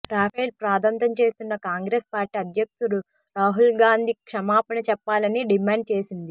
రాఫెల్పై రాద్ధాంతం చేస్తున్న కాంగ్రెస్ పార్టీ అధ్యక్షుడు రాహుల్గాంధీ క్షమాపణ చెప్పాలని డిమాండు చేసింది